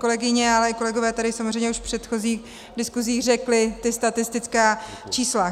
Kolegyně, ale i kolegové tady samozřejmě už v předchozích diskusích řekli ta statistická čísla.